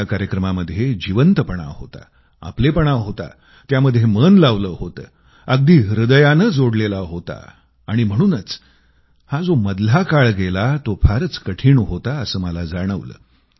या कार्यक्रमामध्ये जिवंतपणा होता आपलेपणा होता त्यामध्ये मन लावलं होतं अगदी हृदयानं जोडलेला होता आणि म्हणूनच हा जो मधला काळ गेला तो फारच कठिण होता असं मला जाणवलं